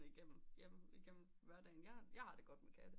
Igennem hverdagen jeg har det godt med katte